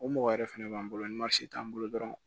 O mɔgɔ yɛrɛ fɛnɛ b'an bolo ni marisi t'an bolo dɔrɔn